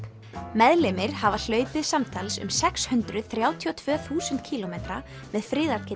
meðlimir hafa hlaupið samtals um sex hundruð þrjátíu og tvö þúsund kílómetra með